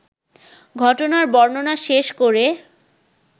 ঘটনার বর্ণনা শেষ করে